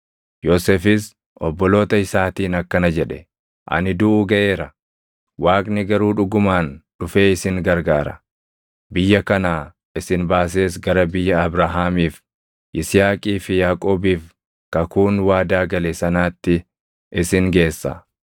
Yoosefis obboloota isaatiin akkana jedhe; “Ani duʼuu gaʼeera. Waaqni garuu dhugumaan dhufee isin gargaara; biyya kanaa isin baasees gara biyya Abrahaamiif, Yisihaaqii fi Yaaqoobiif kakuun waadaa gale sanaatti isin geessa.”